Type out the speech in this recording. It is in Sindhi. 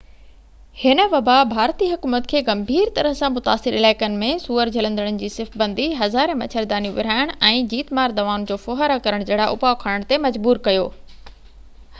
هن وبا ڀارتي حڪومت کي گنڀير طرح سان متاثر علائقن ۾ سوئر جهلندڙن جي صف بندي هزارين مڇر دانيون ورهائڻ ۽ جيت مار دوائن جو ڦوهارو ڪرڻ جهڙا اُپاءُ کڻڻ تي مجبور ڪيو